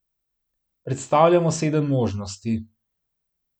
Predstavljamo sedem možnosti.